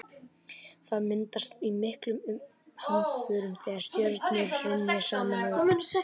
það myndast í miklum hamförum þegar stjörnur hrynja saman og springa